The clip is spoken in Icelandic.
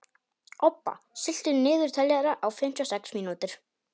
Obba, stilltu niðurteljara á fimmtíu og sex mínútur.